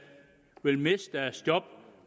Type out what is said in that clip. vil miste deres job